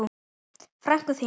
Frænku þína?